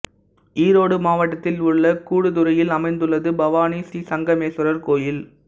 ஈரோடு மாவட்டத்தில் உள்ள கூடுதுறையில் அமைந்துள்ளது பவானி ஸ்ரீசங்கமேஸ்வரர் கோயில்